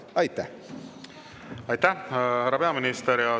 Aitäh, härra peaminister!